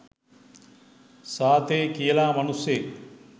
සාතේ කියල මනුස්සයෙක්